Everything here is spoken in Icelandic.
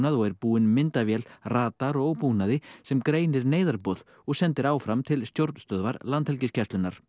og er búin myndavél radar og búnaði sem greinir og sendir áfram til stjórnstöðvar Landhelgisgæslunnar